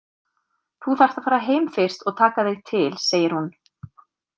Þú þarft að fara heim fyrst og taka þig til, segir hún.